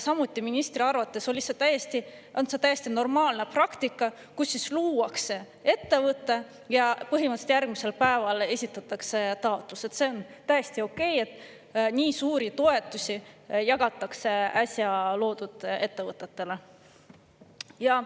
Samuti, ministri arvates on see täiesti normaalne praktika, et luuakse ettevõte ja põhimõtteliselt järgmisel päeval esitatakse taotlus, see on täiesti okei, et nii suuri toetusi jagatakse äsja loodud ettevõtetele.